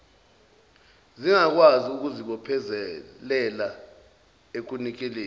zingakwazi ukuzibophezelela ekunikeleni